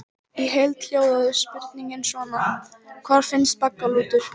Í heild hljóðaði spurningin svona: Hvar finnst baggalútur?